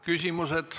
Küsimused.